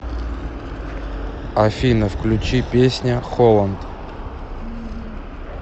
афина включи песня холланд